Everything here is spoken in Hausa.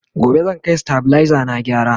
gobe zan Kai stabilizer na gyara